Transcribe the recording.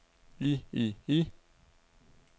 i i i